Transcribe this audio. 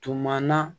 Tuma na